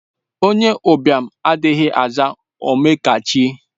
Onye ụbịam adịghị aza Ome ọkachie